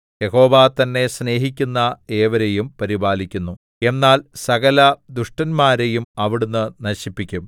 യഹോവ തന്നെ സ്നേഹിക്കുന്ന ഏവരെയും പരിപാലിക്കുന്നു എന്നാൽ സകലദുഷ്ടന്മാരെയും അവിടുന്ന് നശിപ്പിക്കും